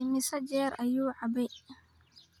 Immisa jeer ayuu cabay?